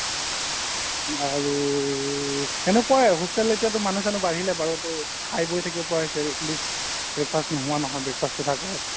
আৰু হেনেকুৱাই hostel এতিয়াতো মানুহ চানুহ বাঢ়িলে বাৰু ত' খাই বৈ থাকিব পৰা হৈছে atleast breakfast নোহোৱা নহয় breakfast টো থাকে